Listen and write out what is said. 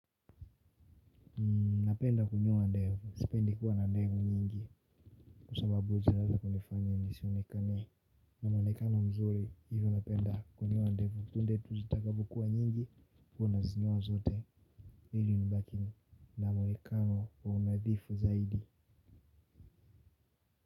Napenda kunyoa ndevu, sipendi kuwa na ndevu nyingi. Kwa sababu ujileta kunifanya nisionekane na mwonekano mzuri hivyo napenda kunyoa ndevu punde tu zitakapokuwa nyingi huwa na zinyoa zote ili nubakinu na mwonekano wa unadhifu zaidi.